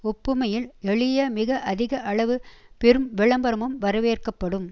ஒப்புமையில் எளிய மிக அதிக அளவு பெரும் விளம்பரமும் வரவேற்கப்படும்